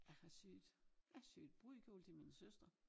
Jeg har syet jeg har syet brudekjole til min søster